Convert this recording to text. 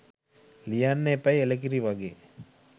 ලියන්න එපැයි එළකිරි වගේ